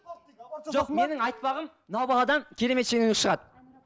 жоқ менің айтпағым мынау баладан керемет шенеунік шығады